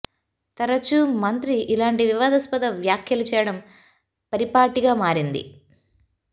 తరచూ మంత్రి ఇలాంటి వివాదాస్పద వ్యాఖ్యలు చేయడం పరిపాటిగా మారింది